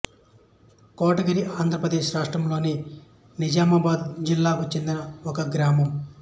కోటగిరి ఆంధ్ర ప్రదేశ్ రాష్ట్రములోని నిజామాబాదు జిల్లాకు చెందిన ఒక గ్రామం